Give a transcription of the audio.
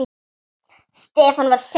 Stefán var seinn til svars.